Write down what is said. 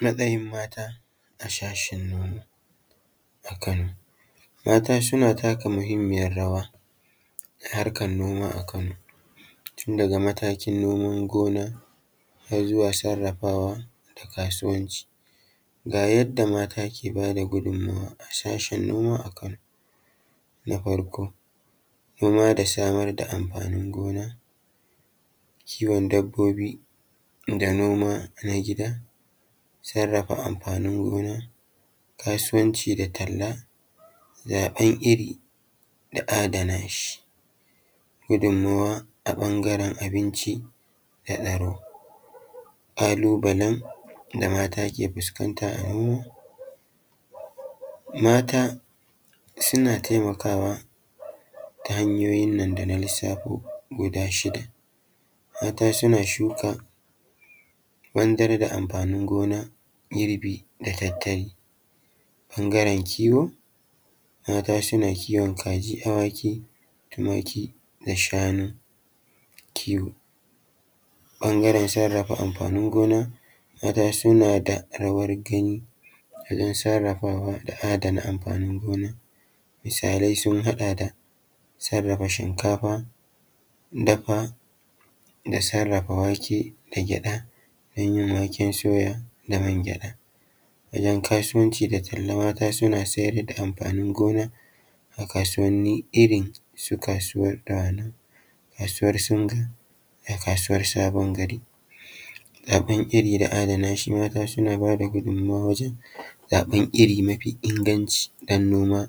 Matsayin mata a shashen noma a Kano. Mata suna taka muhimmiyar rawa a harkar noma a Kan, tun daga matakin noman gona har zuwa sarrafawa da kasuwanci. Ga yadda mata ke ba da gudumma a sashen noma a Kano: Na farko nama da samar da amfanin gona, kiwon dabbobi da noma na gida, sarrafa amfanin gona, kasuwanci da talla, zaɓen iri da adana shi, gudummawa a ɓangaren abinci da aro. Ƙalubalen da mata ke fuskanta a noma; Mata suna taimakawa ta hanyoyin nan da na lissafo guda shida; mata suna shuka, wandara da amfanin gona, girbi da tattali, ɓangaren kiwo, mata suna kiwon kaji, awaki, tumaki da shanu, kiwo. Ɓangaren sarrafa amfanin gona, mata suna da rawar gan wajen sarrafawa da adana amfanin gona, misalai sun haɗa da sarrafa shnkafa, da da sarrafa wake da gyaɗa don yin waken soya da man gyaɗa. Wajen kasuwanci da talla, mata suna siyar da amfanin gona a kasuwanni irin su kasuwan dawanau da kasuwar singa da kasuwar sabon gari. Zaɓen iri da adana shi, mata sun aba da gudummawa wajen zaɓen iri mafi inganci don noma